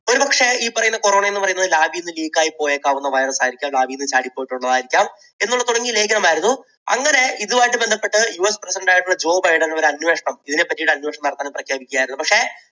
ഒരുപക്ഷേ ഈ corona എന്നു പറയുന്നത് lab ൽ നിന്ന് leak യി പോയേക്കാവുന്ന virus ആയിരിക്കാം, lab ൽ നിന്ന് ചാടി പോയിട്ടുള്ളത് ആയിരിക്കാം എന്നുള്ള തുടങ്ങിയ ലേഖനമായിരുന്നു അങ്ങനെ ഇതും ആയിട്ട് ബന്ധപ്പെട്ട് യുഎസ് president ആയിട്ടുള്ള ജോ ബൈഡൻ ഒരു അന്വേഷണം, ഇതിനെ പറ്റി ഒരു അന്വേഷണം നടത്തണം എന്ന് പ്രഖ്യാപിക്കുകയായിരുന്നു പക്ഷേ